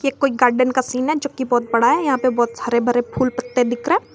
कोई गार्डन है जो कि बहुत बड़ा है यहां पे बहुत सारे भरे फूल पत्ते दिख रा हैं।